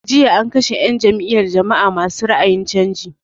Jiya an kashe 'yan n jam'iyar jama'a ma su ra'ayin canji.